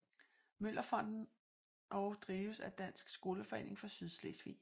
Møller Fonden og drives af Dansk Skoleforening for Sydslesvig